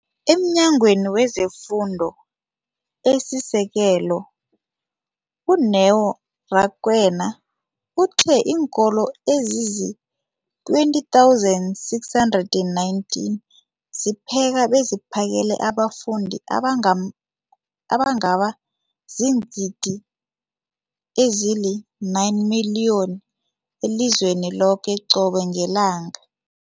EmNyangweni wezeFundo esiSekelo, u-Neo Rakwena, uthe iinkolo ezizi-20 619 zipheka beziphakele abafundi abangaba ziingidi ezili-9 032 622 elizweni loke qobe ngelanga.